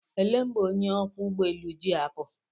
Elee mgbe onye ọkwọ ụgbọelu ji apụ?